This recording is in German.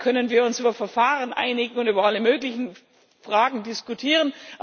Dann können wir uns über Verfahren einigen und über alle möglichen Fragen diskutieren.